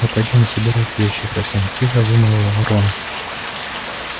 мы пойдём собирать вещи совсем тихо вымолвил рон